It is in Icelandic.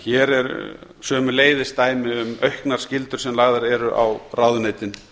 hér er sömuleiðis dæmi um auknar skyldur sem lagðar eru á ráðuneytin